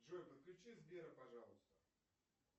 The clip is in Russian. джой подключи сбера пожалуйста